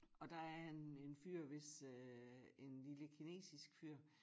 Og der er en en fyr hvis øh en lille kinesisk fyr